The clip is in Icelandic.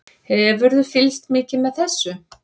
Hefurðu fylgst mikið með þessu?